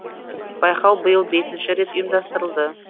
байқау биыл бесінші рет ұйымдастырылды